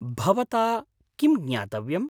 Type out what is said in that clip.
भवता किं ज्ञातव्यम्?